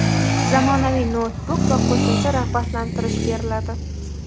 zamonaviy noutbuk va qo‘shimcha rag‘batlantirish beriladi.